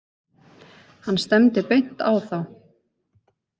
Hann stefndi beint á þá.